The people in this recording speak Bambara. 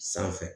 Sanfɛ